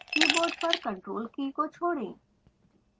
keyboard पर ctrl key को छोड़ें